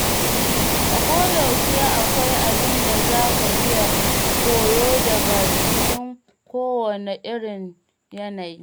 A koyaushe akwai abin da za ka iya koyo daga cikin kowane irin yanayi.